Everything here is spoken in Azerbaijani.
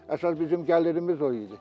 Əsas bizim gəlirimiz o idi.